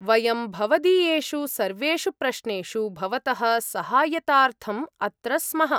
वयं भवदीयेषु सर्वेषु प्रश्नेषु भवतः सहायताऽर्थम् अत्र स्मः।